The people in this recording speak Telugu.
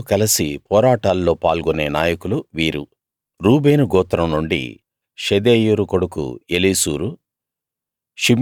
మీతో కలసి పోరాటాల్లో పాల్గొనే నాయకులు వీరు రూబేను గోత్రం నుండి షెదేయూరు కొడుకు ఏలీసూరు